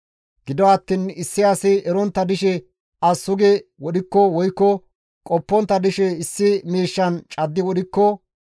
« ‹Gido attiin issi asi erontta dishe as sugi wodhikko woykko qoppontta dishe issi miishshan caddi wodhikko,